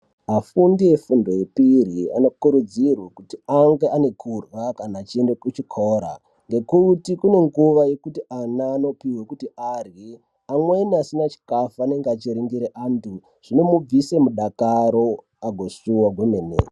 Afundi efundo yepiri anokurudzirwe kuti ange ane kurhya kana echienda kuchikora, ngekuti kune nguwa yekuti ana anopiwa kuti arhye amweni asina chikafu anenge echiringire anthu, zvinomubvis mudakaro agosuwa kwemene.